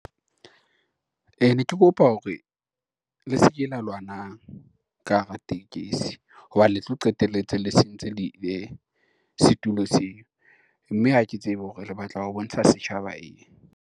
Ne ke kopa hore, le se ke la lwanang ka hara tekesi hobane tlo qetelletse le sentse setulo seo, mme ha ke tsebe hore le batla ho bontsha setjhaba eng.